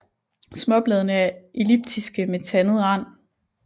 Småbladene er elliptiske med tandet rand